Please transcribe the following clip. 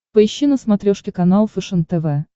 поищи на смотрешке канал фэшен тв